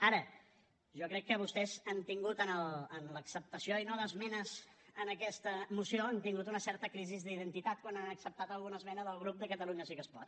ara jo crec que vostès han tingut en l’acceptació i no d’esmenes en aquesta moció una certa crisi d’identitat quan han acceptat alguna esmena del grup de catalunya sí que es pot